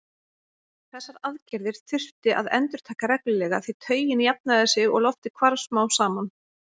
Þessar aðgerðir þurfti að endurtaka reglulega því taugin jafnaði sig og loftið hvarf smám saman.